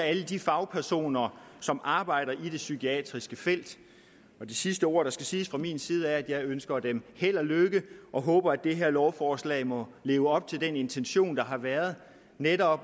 alle de fagpersoner som arbejder i det psykiatriske felt det sidste ord der skal siges fra min side er at jeg ønsker dem held og lykke og håber at det her lovforslag må leve op til den intention der har været netop